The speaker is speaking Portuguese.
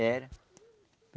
Era.